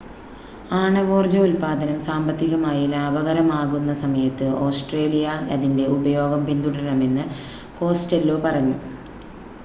ആണവോർജ്ജ ഉൽപ്പാദനം സാമ്പത്തികമായി ലാഭകരമാകുന്ന സമയത്ത് ഓസ്‌ട്രേലിയ അതിൻ്റെ ഉപയോഗം പിന്തുടരണമെന്ന് കോസ്റ്റെല്ലോ പറഞ്ഞു